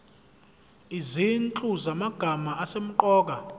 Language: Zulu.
izinhlu zamagama asemqoka